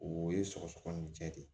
O ye sɔgɔsɔgɔninjɛ de ye